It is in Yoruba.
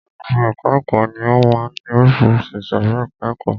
Gbogbo ẹka ẹ̀kọ́ ni ó máa ń ní oríṣiríṣi ìsòrí ẹka ẹ̀kọ́.